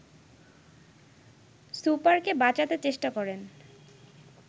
সুপারকে বাঁচাতে চেষ্টা করেন